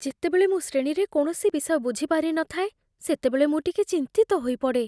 ଯେତେବେଳେ ମୁଁ ଶ୍ରେଣୀରେ କୌଣସି ବିଷୟ ବୁଝିପାରିନଥାଏ, ସେତେବେଳେ ମୁଁ ଟିକେ ଚିନ୍ତିତ ହୋଇପଡ଼େ।